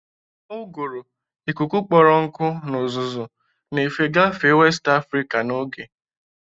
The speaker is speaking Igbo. Uguru, ikuku kpọrọ nkụ na uzuzu, na-efe gafee West Afrika n'oge.